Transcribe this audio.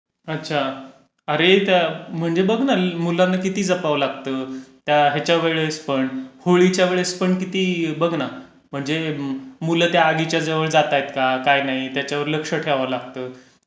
अच्छा, त्या म्हणजे बघ ना मुलांना किती जपावं लागतं. त्या ह्याच्या वेळेस पण, होलीच्या वेळेस पण किती बघ ना म्हणजे मुलं त्या आगीच्या जवळ जातहेत का? काय नाही, त्याच्यावर लक्ष ठेवावं लागतं.